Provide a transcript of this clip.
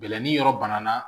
Bɛlɛnin yɔrɔ banna